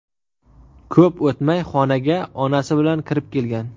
Ko‘p o‘tmay xonaga onasi bilan kirib kelgan.